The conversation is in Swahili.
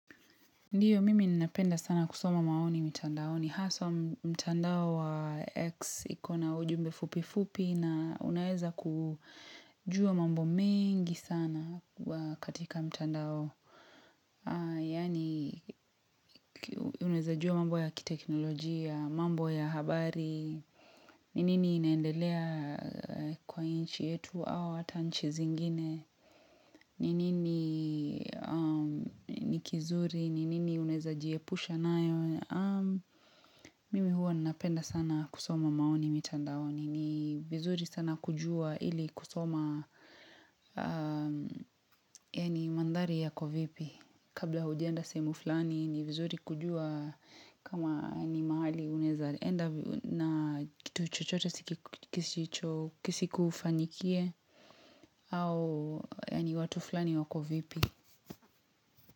Ndiyo, mimi ninapenda sana kusoma maoni mitandaoni. Ni haswa mtandao wa X ikona ujumbe fupi fupi na unaeza kujua mambo mengi sana wa katika mtandao. Yani unaeza jua mambo ya kiteknolojia, mambo ya habari, ni nini inaendelea kwa nchi yetu au hata nchi zingine, ni nini ni kizuri, ni nini unaeza jiepusha nayo. Mimi huwa napenda sana kusoma maoni mitandaoni ni vizuri sana kujua ili kusoma yani mandhari yako vipi kabla hujaenda sehemu fulani ni vizuri kujua kama ni mahali unaeza enda na kitu chochote si kisicho kisikufanyikie au yani watu fulani wako vipi.